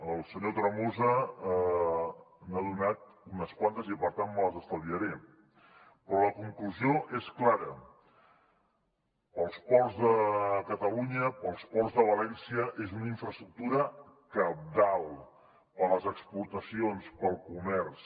el senyor tremosa n’ha donat unes quantes i per tant me les estalviaré però la conclusió és clara per als ports de catalunya per als ports de valència és una infraestructura cabdal per a les exportacions per al comerç